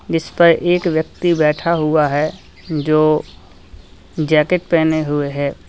इस पर एक व्यक्ति बैठा हुआ है जो जैकेट पहने हुए है।